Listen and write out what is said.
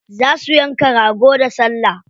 Za su yanka rago da salla.